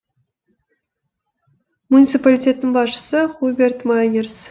муниципалитеттің басшысы хуберт майнерс